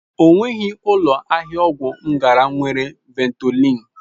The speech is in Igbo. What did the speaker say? Ọ nweghị ụlọ ahịa ọgwụ m gara nwere Ventolin.